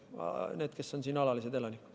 Need, kes on siin alalised elanikud.